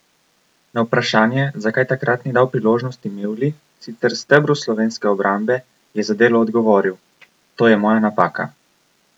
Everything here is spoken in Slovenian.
Na vprašanje, zakaj takrat ni dal priložnosti Mevlji, sicer stebru slovenske obrambe, je za Delo odgovoril: "To je moja napaka.